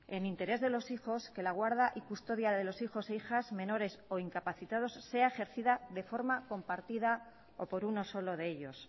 en interés de los hijos que la guarda y custodia de los hijos e hijas menores o incapacitados sea ejercida de forma compartida o por uno solo de ellos